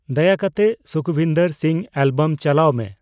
ᱫᱟᱭᱟᱠᱟᱛᱮ ᱥᱩᱠᱷᱵᱤᱱᱫᱚᱨ ᱥᱤᱝ ᱮᱹᱞᱵᱟᱢ ᱪᱟᱞᱟᱣ ᱢᱮ